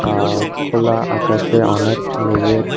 আহ খোলা আকাশে অনেক মেঘের--